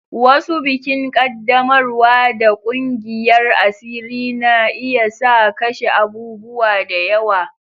Wasu bikin qaddamarwa da ƙungiyar asiri na iya sa kashe abubuwa da yawa.